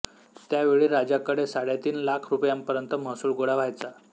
त्यावेळी राजाकडे साडेतीन लाख रुपयापर्यंत महसूल गोळा व्हायचा